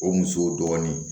O musow dɔɔnin